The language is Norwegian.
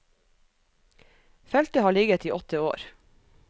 Feltet har ligget i åtte år.